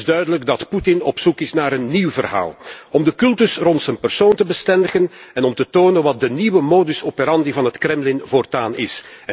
Het is duidelijk dat Poetin op zoek is naar een nieuw verhaal om de cultus rond zijn persoon te bestendigen en om te tonen wat de nieuwe modus operandi van het Kremlin voortaan is.